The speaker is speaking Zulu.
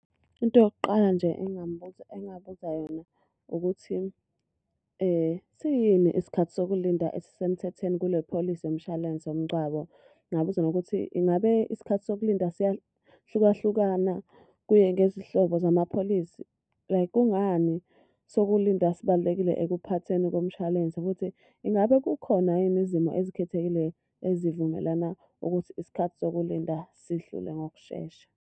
Into yokuqala nje engingambuza engabuza yona ukuthi, siyini isikhathi sokulinda esisemthethweni kule pholisi yomshwalense womngcwabo? Ngingabuza nokuthi, ingabe isikhathi sokulinda siyahluka hlukana kuye ngezinhlobo zamapholisi? Like kungani sokulinda sibalulekile ekuphatheni komshwalense futhi ingabe kukhona yini izimo ezikhethekile ezivumelana ukuthi isikhathi sokulinda sidlule ngokushesha?